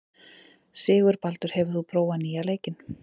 Sigurbaldur, hefur þú prófað nýja leikinn?